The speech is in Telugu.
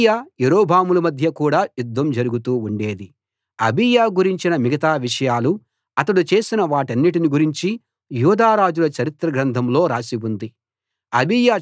అబీయా యరొబాముల మధ్య కూడా యుద్ధం జరుగుతూ ఉండేది అబీయా గురించిన మిగతా విషయాలు అతడు చేసిన వాటన్నిటిని గురించి యూదా రాజుల చరిత్ర గ్రంథంలో రాసి ఉంది